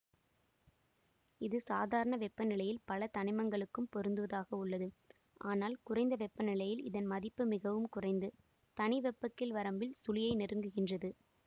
இது சாதாரண வெப்பநிலையில் பல தனிமங்களுக்கும் பொருந்துவதாக உள்ளது ஆனால் குறைந்த வெப்பநிலையில் இதன் மதிப்பு மிகவும் குறைந்து தனி வெப்பக்கீழ் வரம்பில் சுழியை நெருங்குகின்றது